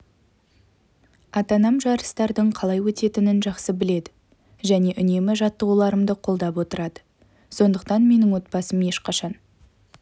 ата-анам жарыстардың қалай өтетінін жақсы біледі және үнемі жаттығуларымды қолдап отырады сондықтан менің отбасым ешқашан